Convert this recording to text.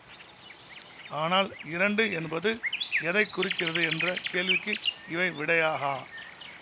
ஆனால் இரண்டு என்பது எதை குறிக்கிறது என்ற கேள்விக்கு இவை விடையாகா